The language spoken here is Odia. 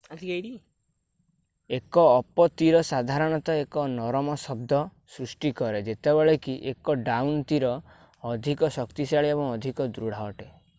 ଏକ ଅପ-ତୀର ସାଧାରଣତଃ ଏକ ନରମ ଶବ୍ଦ ସୃଷ୍ଟି କରେ ଯେତେବେଳେ କି ଏକ ଡାଉନ-ତୀର ଅଧିକ ଶକ୍ତିଶାଳୀ ଏବଂ ଅଧିକ ଦୃଢ ଅଟେ